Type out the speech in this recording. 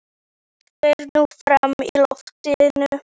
Allt fer nú fram í loftinu.